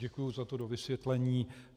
Děkuji za to dovysvětlení.